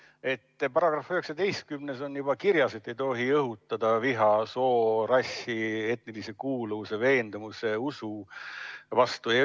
§‑s 19 on juba kirjas, et ei tohi õhutada viha soo, rassi, etnilise kuuluvuse, veendumuste ega usu alusel.